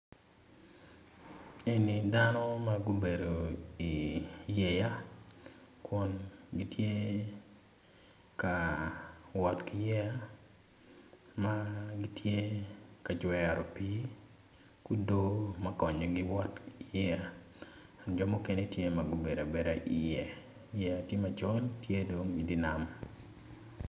Eni dano magubedo i yeya kun gitye ka wot ki yeya magitye ka jwero pi kugo makonyo wot i yeya jo mukene tye ma gubedo abeda i ye yeya tye maco tye dong gitye i nam.